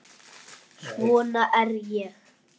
Svona er ég.